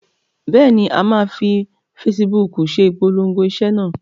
Bẹ́ẹ̀ ni, a máa fi fesibúùkù se ìpolongo iṣẹ́ náà.